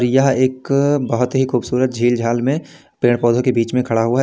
यह एक बहुत ही खूबसूरत झील झाल में पेड़ पौधों के बीच में खड़ा हुआ है।